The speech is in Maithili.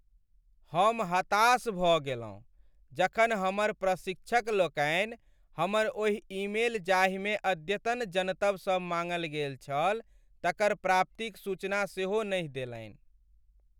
हम हताश भ गेलहुँ जखन हमर प्रशिक्षक लोकनि हमर ओहि ईमेल जाहिमे अद्यतन जनतब सब माङ्गल गेल छल तकर प्राप्तिक सूचना सेहो नहि देलनि।